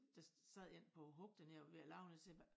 Der sad en på hug dernede og var ved at lave noget så siger jeg hva